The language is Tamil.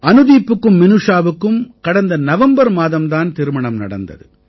அனுதீப்புக்கும் மினூஷாவுக்கும் கடந்த நவம்பர் மாதம் தான் திருமணம் நடந்தது